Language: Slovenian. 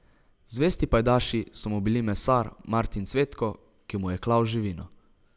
Zvesti pajdaši so mu bili mesar Martin Cvetko, ki mu je klal živino.